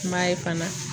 I m'a ye fana